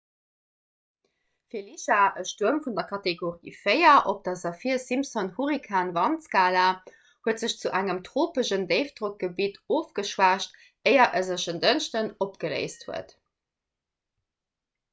felicia e stuerm vun der kategorie 4 op der saffir-simpson-hurrikan-wandskala huet sech zu engem tropeschen déifdrockgebitt ofgeschwächt éier e sech en dënschdeg opgeléist huet